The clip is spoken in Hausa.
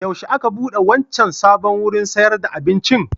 Yaushe aka buɗe wancan sabon wurin sayar da abincin?